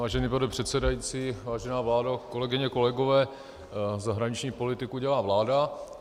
Vážený pane předsedající, vážená vládo, kolegyně, kolegové, zahraniční politiku dělá vláda.